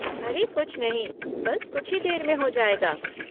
अरे कुछ नहीं, बस कुछ ही देर में हो जाएगा।